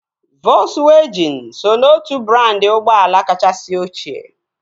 Volzwajịn so n'otu brandị ụgbọala kachasị ọchịe